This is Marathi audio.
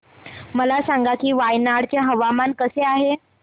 मला सांगा की वायनाड चे हवामान कसे आहे